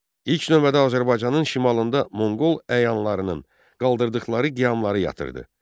İlk növbədə Azərbaycanın şimalında Monqol əyanlarının qaldırdıqları qiyamları yatırdı.